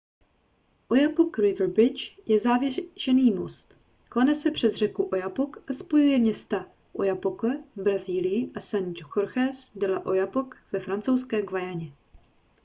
oyapock river bridge je zavěšený most klene se přes řeku oyapock a spojuje města oiapoque v brazílii a saint-georges de l'oyapock ve francouzské guyaně